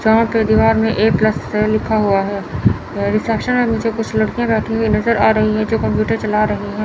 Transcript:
यहां पे दीवार में एक प्लस से लिखा हुआ है रिसेप्शन में मुझे कुछ लड़कियां बैठी हुई नज़र आ रही हैं जो कंप्यूटर चला रही हैं।